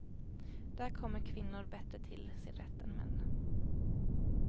Där kommer kvinnor bättre till sin rätt än män.